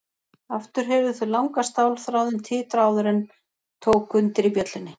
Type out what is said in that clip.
Aftur heyrðu þau langa stálþráðinn titra áður en tók undir í bjöllunni.